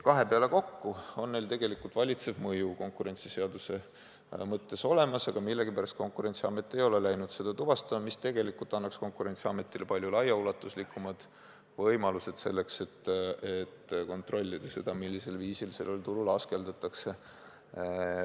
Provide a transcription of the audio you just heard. Kahe peale kokku on neil tegelikult valitsev mõju konkurentsiseaduse mõttes olemas, aga millegipärast Konkurentsiamet ei ole läinud seda tuvastama, mis tegelikult annaks Konkurentsiametile palju laiaulatuslikumad võimalused selleks, et kontrollida seda, millisel viisil sellel turul askeldatakse.